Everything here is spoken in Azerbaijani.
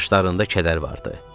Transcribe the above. Baxışlarında kədər vardı.